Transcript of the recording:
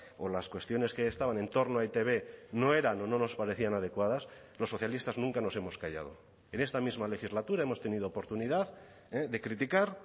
o las cuestiones que estaban en torno a e i te be no eran o no nos parecían adecuadas los socialistas nunca nos hemos callado en esta misma legislatura hemos tenido oportunidad de criticar